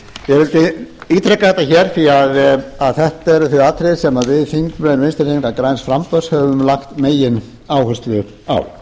vildi ítreka þetta hér því þetta eru þau atriði sem þingmenn vinstri hreyfingarinnar græns framboðs höfum lagt megináherslu á